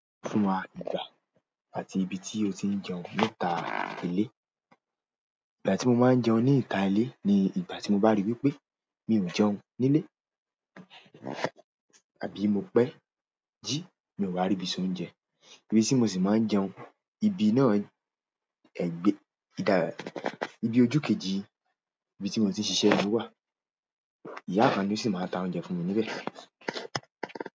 Fún wa ìgbà àti ibi tí o ti ń jẹun níta ilé. Ìgbà tí mo máa ń jẹun níta ilé ni ìgbà tí mo bá ri wípé mi ò jẹun nílé àbí mo pẹ́ jí, mi ò wá ríbi soúnjẹ. Ibí tí mo sì máa ń jẹun, ibi náà ẹgbẹ́, ìdábẹ́, ibi ojú kejì ibi tí mo ti ń ṣiṣẹ́ ni ó wà. Ìyá kan ni ó sì máa ń ta oúnjẹ fún mi níbẹ̀.